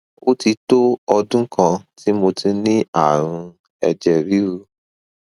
ó ti tó ọdún kan tí mo ti ní ààrùn ẹjẹ ríru